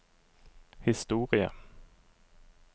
historie